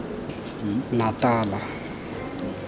natala